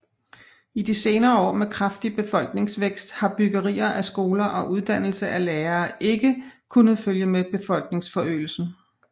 I de senere år med kraftig befolkningsvækst har byggeri af skoler og uddannelse af lærere ikke kunnet følge med befolkningsforøgelsen